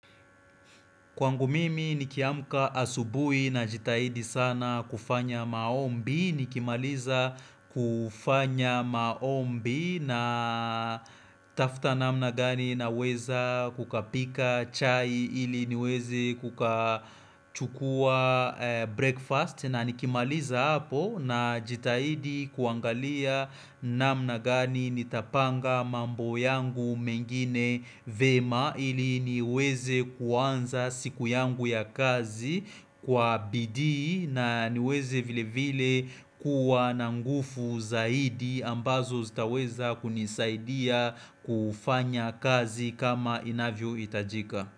Kwangu mimi nikiamka asubui na jitahidi sana kufanya maombi, nikimaliza kufanya maombi na tafta namna gani na weza kukapika chai ili niwezi kukachukua breakfast na nikimaliza hapo na jitahidi kuangalia namna gani nitapanga mambo yangu mengine vema ili niweze kuanza. Siku yangu ya kazi kwa bidii na niweze vile vile kuwa na nguvu zaidi ambazo zitaweza kunisaidia kufanya kazi kama inavyohitajika.